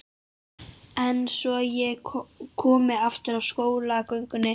En svo ég komi aftur að skólagöngunni.